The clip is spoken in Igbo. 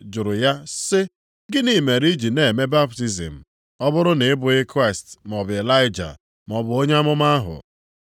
jụrụ ya, sị, “Gịnị mere i ji na-eme baptizim ọ bụrụ na ị bụghị Kraịst maọbụ Ịlaịja, maọbụ onye amụma ahụ?”